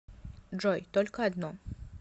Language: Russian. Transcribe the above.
джой только одно